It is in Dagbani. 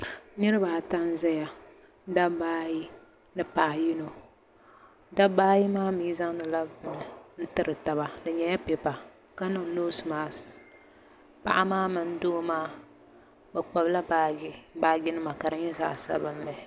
niraba ata n ʒɛya dabba ayi ni paɣa yino dabba maa mii zaŋdila bini n tiri taba di nyɛla pipa ka niŋ noos mask paɣa maa mini doo maa bi kpabila baaji nima ka di nyɛ zaɣ sabinli